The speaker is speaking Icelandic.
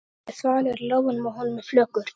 Hann er þvalur í lófunum og honum er flökurt.